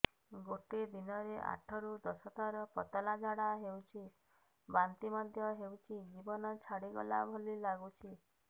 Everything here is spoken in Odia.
ଗୋଟେ ଦିନରେ ଆଠ ରୁ ଦଶ ଥର ପତଳା ଝାଡା ହେଉଛି ବାନ୍ତି ମଧ୍ୟ ହେଉଛି ଜୀବନ ଛାଡିଗଲା ଭଳି ଲଗୁଛି